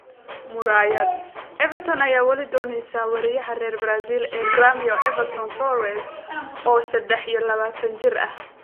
(Murayaad) Everton ayaa wali dooneysa weeraryahanka reer Brazil ee Gremio Everton Soares, oo sedex iyo labatan jir ah.